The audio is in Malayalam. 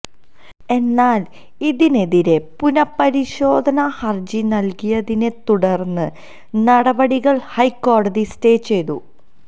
എന്നാല് ഇതിനെതിരെ പുനഃപരിശോധനാ ഹര്ജി നല്കിയതിനെത്തുടര്ന്ന് നടപടികള് ഹൈക്കോടതി സ്റ്റേ ചെയ്തു